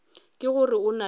ke gore o na le